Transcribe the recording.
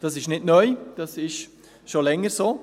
Das ist nicht neu, das ist schon länger so.